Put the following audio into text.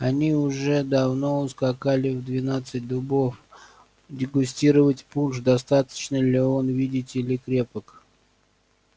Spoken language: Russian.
они уже давно ускакали в двенадцать дубов дегустировать пунш достаточно ли он видите ли крепок